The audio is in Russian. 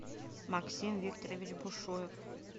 максим викторович бушуев